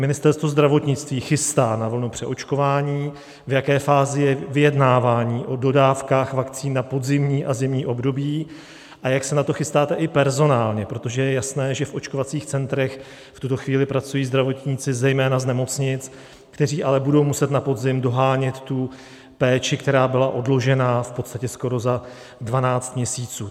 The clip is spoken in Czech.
Ministerstvo zdravotnictví chystá na vlnu přeočkování, v jaké fázi je vyjednávání o dodávkách vakcín na podzimní a zimní období a jak se na to chystáte i personálně, protože je jasné, že v očkovacích centrech v tuto chvíli pracují zdravotníci zejména z nemocnic, kteří ale budou muset na podzim dohánět tu péči, která byla odložena v podstatě skoro za 12 měsíců.